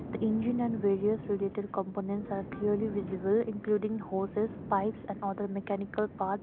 the engine and various related components are clearly visible including hoses pipes and other mechanical part.